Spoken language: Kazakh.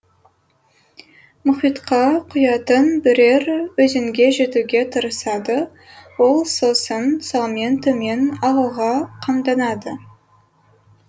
мұхитқа құятын бірер өзенге жетуге тырысады ол сосын салмен төмен ағуға қамданады